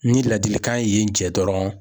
Ni ladilikan ye yenn jɛ dɔrɔn